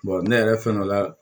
ne yɛrɛ fɛn dɔ la